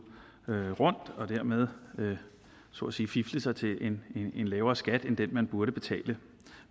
rundt og dermed så at sige fifle sig til en lavere skat end den man burde betale